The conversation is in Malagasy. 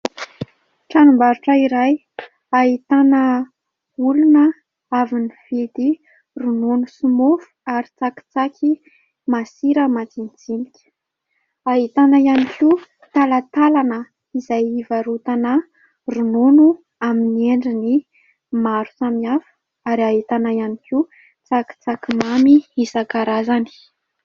Tranom-barotra iray, ahitana olona avy nividy ronono sy mofo ary tsakitsaky masira majinijinika, ahitana ihany koa talatalana izay hivarotana ronono amin'ny endriny maro samihafa ary ahitana ihany koa tsakitsaky mamy isakarazany.